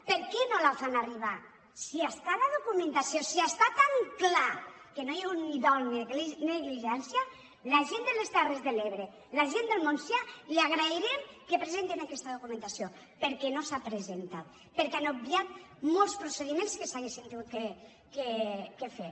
per què no la hi fan arribar si hi ha la documentació si està tan clar que ni ha hagut ni dol ni negligència la gent de les terres de l’ebre la gent del montsià li agrairem que presenten aquesta documentació perquè no s’ha presentat perquè han ob viat molts procediments que s’haurien hagut de fer